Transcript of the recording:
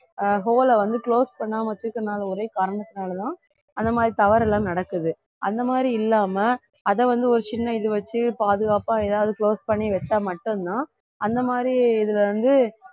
ஆஹ் hole ல வந்து close பண்ணாம வச்சிருக்கிறதுனால ஒரே காரணத்துனாலதான் அந்த மாதிரி தவறு எல்லாம் நடக்குது அந்த மாதிரி இல்லாம அதை வந்து ஒரு சின்ன இது வச்சு பாதுகாப்பா ஏதாவது close பண்ணி வச்சா மட்டும்தான் அந்த மாதிரி இதுல வந்து